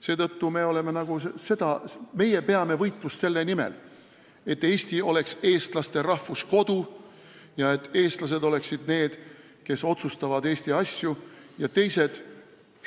Seetõttu peame meie võitlust selle nimel, et Eesti oleks eestlaste rahvuskodu, et eestlased oleksid need, kes otsustavad Eesti asju, ja teised –